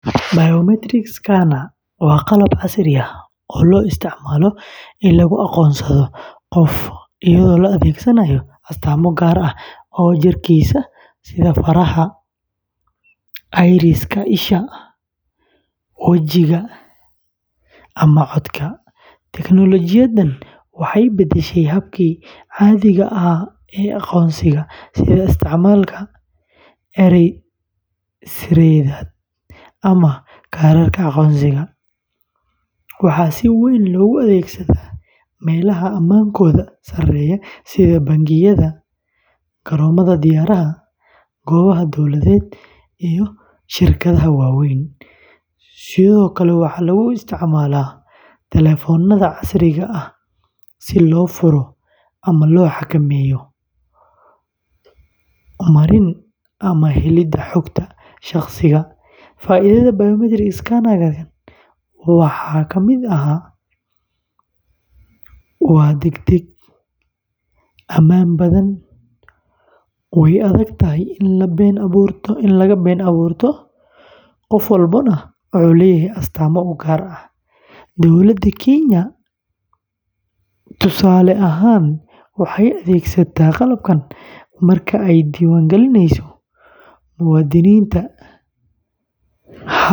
Biometric scanner waa qalab casri ah oo loo isticmaalo in lagu aqoonsado qof iyadoo la adeegsanayo astaamo gaar ah oo jirkiisa ah sida faraha, iris-ka isha, wajiga, ama codka. Teknoolojiyaddan waxay beddeshay habkii caadiga ahaa ee aqoonsiga sida isticmaalka eray-sirreedyada ama kaararka aqoonsiga. Waxaa si weyn looga adeegsadaa meelaha ammaankooda sareeyo sida bangiyada, garoomada diyaaradaha, goobaha dowladeed, iyo shirkadaha waaweyn. Sidoo kale, waxaa lagu isticmaalaa taleefannada casriga ah si loo furo ama loo xakameeyo marin u helidda xogta shaqsiga. Faa’iidada biometric scanner-ka waxaa ka mid ah: waa degdeg, ammaan badan, way adag tahay in la been abuurto, qof walbana wuxuu leeyahay astaamo u gaar ah. Dowladda Kenya, tusaale ahaan, waxay adeegsataa qalabkan marka ay diiwaan gelinayso muwaadiniinta.